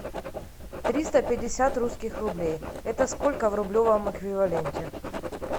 триста пятьдесят русских рублей это сколько в рублевом эквиваленте